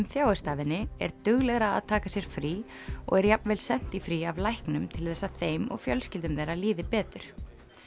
þjáist af henni er duglegra að taka sér frí og er jafnvel sent í frí af læknum til þess að þeim og fjölskyldum þeirra líði betur